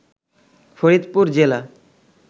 ফরিদপুর জেলা